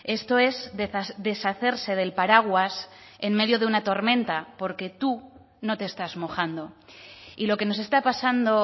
esto es deshacerse del paraguas en medio de una tormenta porque tú no te estás mojando y lo que nos está pasando